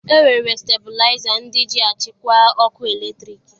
E nwere stebilaịza ndị ji achịkwa ọkụ eletriki